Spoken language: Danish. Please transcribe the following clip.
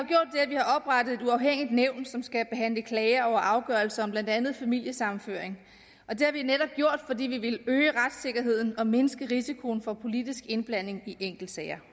oprettet et uafhængigt nævn som skal behandle klager over afgørelser om blandt andet familiesammenføring og det har vi netop gjort fordi vi ville øge retssikkerheden og mindske risikoen for politisk indblanding i enkeltsager